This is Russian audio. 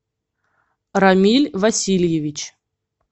рамиль васильевич